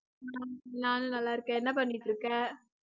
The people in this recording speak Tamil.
ஹம் நானும் நல்லா இருக்கேன் என்ன பண்ணிட்டிருக்க?